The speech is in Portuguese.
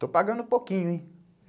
Eu estou pagando um pouquinho, hein.